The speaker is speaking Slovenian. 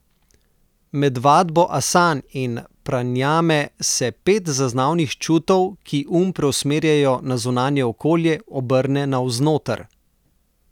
Med vadbo asan in pranajame se pet zaznavnih čutov, ki um preusmerjajo na zunanje okolje, obrne navznoter.